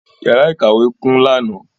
Yàrá ìkàwé kún lánàá.